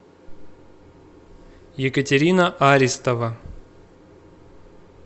екатерина аристова